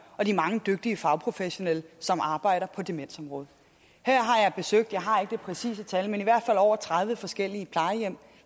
og de mange dygtige fagprofessionelle som arbejder på demensområdet jeg har ikke det præcise tal men i hvert fald over tredive forskellige plejehjem